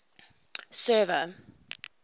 server